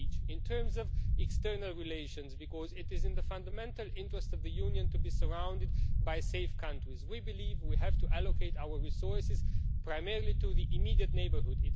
CEPOL. In terms of external relations, because it is in the fundamental interest of the Union to be surrounded by safe countries, we believe we have to allocate our resources primarily to the immediate neighbourhood.